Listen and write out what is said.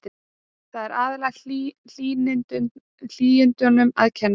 Þar er aðallega hlýindum um að kenna.